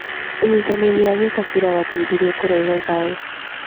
ũnyitanĩri wa gĩkabira warteithirie kũrehe thayũ.